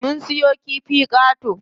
Mun siyo kifi qato.